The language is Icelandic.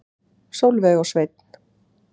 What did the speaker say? Sólveig og Sveinn.